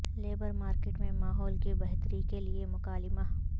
labour market میں ماحول کی بہتری کے لیے مکالمہ